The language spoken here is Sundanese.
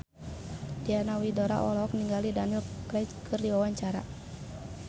Diana Widoera olohok ningali Daniel Craig keur diwawancara